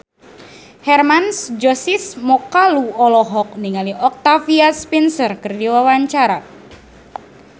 Hermann Josis Mokalu olohok ningali Octavia Spencer keur diwawancara